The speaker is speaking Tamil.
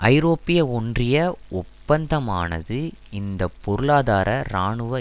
ஐரோப்பிய ஒன்றிய ஒப்பந்தமானது இந்த பொருளாதார இராணுவ